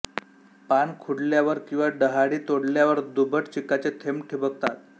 पान खुडल्यावर किंवा डहाळी तोडल्यावर दुधट चिकाचे थेंब ठिबकतात